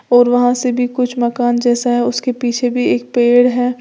और वहां से भी कुछ मकान जैसा है उसके पीछे भी एक पेड़ है।